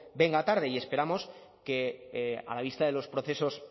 venga tarde y esperamos que a la vista de los procesos